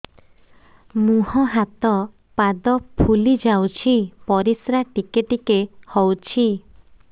ମୁହଁ ହାତ ପାଦ ଫୁଲି ଯାଉଛି ପରିସ୍ରା ଟିକେ ଟିକେ ହଉଛି